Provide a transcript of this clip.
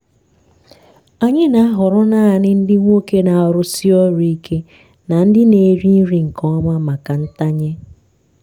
anyị na-ahọrọ naanị ndị nwoke na-arụsi ọrụ ike na ndị na-eri nri nke ọma maka ntanye.